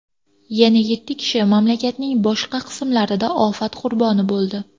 Yana yetti kishi mamlakatning boshqa qismlarida ofat qurboni bo‘ldi.